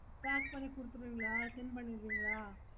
pack பண்ணி குடுப்பிங்களா send பண்ணுவிங்கள